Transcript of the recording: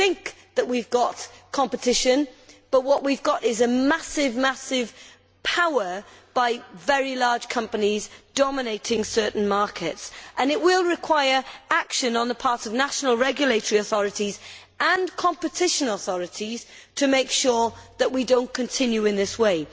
We think we have competition, but what we have is the massive power of very large companies dominating certain markets. It will require action on the part of national regulatory authorities and competition authorities to make sure that we do not continue in this way.